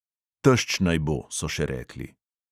Tešč naj bo, so še rekli.